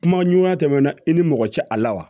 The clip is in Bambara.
Kuma ɲuman tɛmɛna i ni mɔgɔ cɛ a la wa